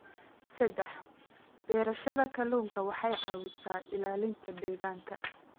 Saddex, beerashada kalluunku waxay caawisaa ilaalinta deegaanka.